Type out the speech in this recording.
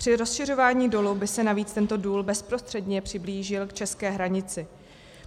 Při rozšiřování dolu by se navíc tento důl bezprostředně přiblížil k české hranici.